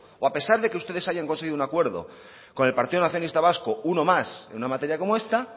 o a pesar de que ustedes hayan conseguido un acuerdo con el partido nacionalista vasco uno más en una materia como esta